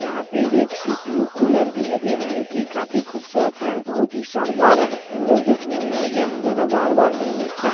यहां पे एक सी.पी.यु कूलर भी लगे है जो की काफी खूबसूरत हैबोहोत ही शानदार है जो देखने में यह नज़ारा बार-बार नहीं मिलता है।